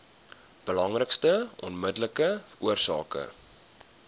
belangrikste onmiddellike oorsake